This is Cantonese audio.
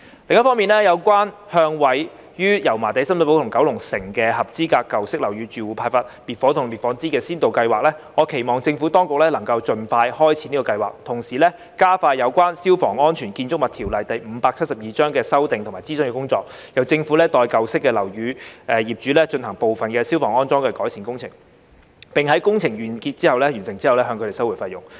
另一方面，有關向位於油麻地、深水埗及九龍城的合資格舊式樓宇住戶派發滅火筒及滅火氈的先導計劃，我期望政府當局能夠盡快開展這項計劃，同時加快有關《消防安全條例》的修訂及諮詢工作，由政府代舊式樓宇業主進行部分消防安裝改善工程，並在工程完成後向他們收回費用。